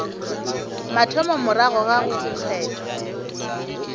mathomo morago ga go kgethwa